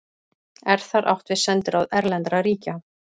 Er þar átt við sendiráð erlendra ríkja.